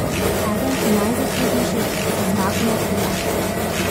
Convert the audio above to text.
Eden najzaslužnejših za zmago nad Poljaki.